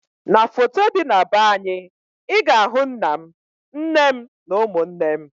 N'foto dị na be anyị, ị ga ahụ nna m, nne m na ụmụnne m